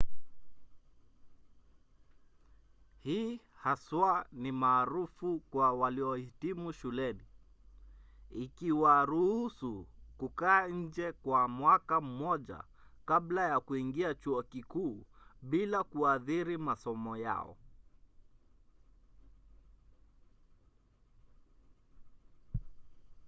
hii haswa ni maarufu kwa waliohitimu shuleni ikiwaruhusu kukaa nje kwa mwaka mmoja kabla ya kuingia chuo kikuu bila kuathiri masomo yao